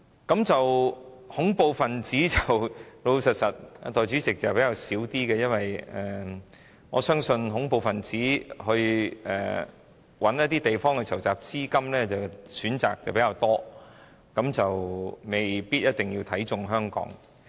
代理主席，老實說，恐怖分子方面的問題比較少，因為恐怖分子如要找地方籌集資金，選擇比較多，未必看中香港。